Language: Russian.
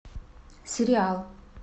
сериал